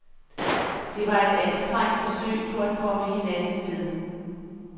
Det var et anstrengt forsøg på at komme hinanden ved.